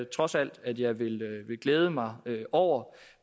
trods alt at jeg vil glæde mig over